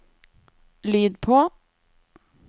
lyd på